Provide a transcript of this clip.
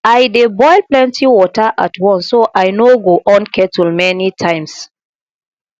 i dey boil plenty water at once so i no go on kettle many times